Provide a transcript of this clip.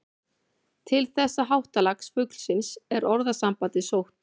Til þessa háttalags fuglsins er orðasambandið sótt.